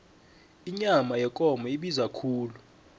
inyama yekomo ibiza khulu